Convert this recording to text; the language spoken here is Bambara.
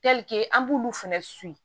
an b'ulu fɛnɛ